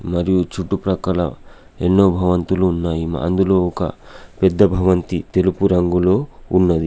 మరియు చుట్టుప్రక్కల ఎన్నో భవంతులు ఉన్నాయి. అందులో ఒక పెద్ద భవంతి తెలుపు రంగులో ఉన్నది.